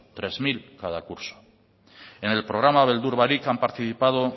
tres mil cada curso en el programa beldur barik han participado